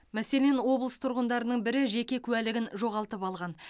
мәселен облыс тұрғындарының бірі жеке куәлігін жоғалтып алған